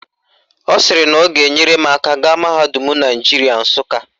Ọ sịrị na ọ ga-enyere m aka gaa mahadum Naijiria Nsụka